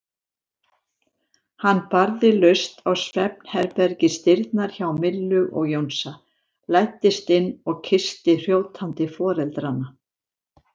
Hann barði laust á svefnherbergisdyrnar hjá Millu og Jónsa, læddist inn og kyssti hrjótandi foreldrana.